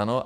Ano?